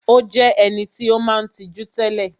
Ó jé eniti ó maa n tijú télè